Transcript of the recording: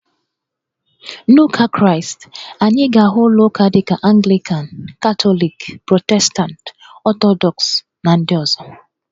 N'Ụka Kraịst, anyị ga-ahụ ụlọ uka dị ka Anglịkan, Katọlikị, Protestantị, Ọtọdọks, na ndị ọzọ